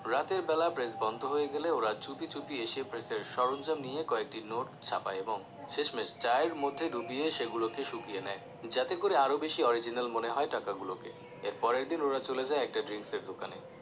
রাতের বেলা press বন্ধ হয়ে গেলে ওরা চুপি চুপি এসে press সরঞ্জাম নিয়ে কয়েকটি নোট ছাপায় এবং শেষমেশ চায়ের মধ্যে ডুবিয়ে সেগুলোকে শুকিয়ে নেয় যাতে করে আরও বেশি original মনে হয় টাকা গুলোকে এর পরেরে দিন ওরা চলে যায় একটি drinks এর দোকানে